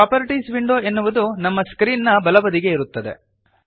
ಈ properties window ಎನ್ನುವುದು ನಮ್ಮ ಸ್ಕ್ರೀನ್ ನ ಬಲಬದಿಗೆ ಇರುತ್ತದೆ